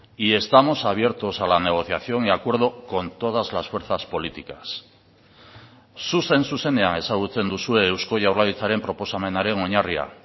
y estamos abiertos a la negociación y acuerdo con todas las fuerzas políticas zuzen zuzenean ezagutzen duzue eusko jaurlaritzaren proposamenaren oinarria